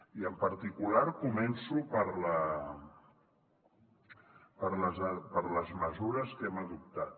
i en particular començo per les mesures que hem adoptat